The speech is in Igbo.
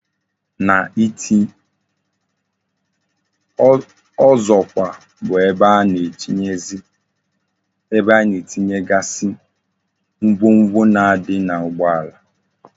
Ọzọkwa bụ ebe a na-etinyegazi ngwongwo na adikwa na ugbo ala